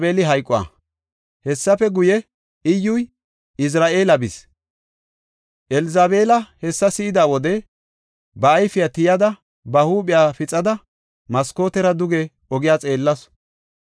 Hessafe guye, Iyyuy Izra7eela bis. Elzabeela hessa si7ida wode, ba ayfiya tiyada, ba huuphiya pixada, maskootiyara duge ogiya xeellasu.